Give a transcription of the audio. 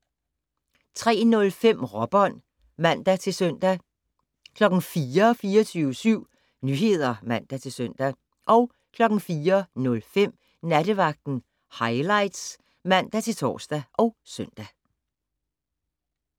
03:05: Råbånd (man-søn) 04:00: 24syv Nyheder (man-søn) 04:05: Nattevagten Highlights (man-tor og søn)